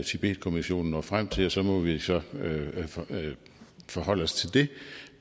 tibetkommissionen når frem til og så må vi forholde os til det